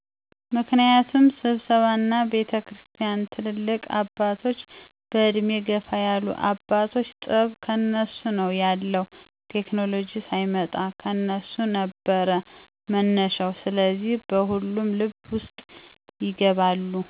ምክንያቱም ስብሰባ እነ ቤተክርስቲያን ትልልቅ አባቶች በዕድሜ ገፋ ያሉ አባቶች ጥበብ ከነሱ ነው ያለዉ ቴክኮሎጂ ሳይመጣ ከነሱ ነበር መነሻው ስለዚህ በሁሉም ልብ ውስጥ ይገባሉ።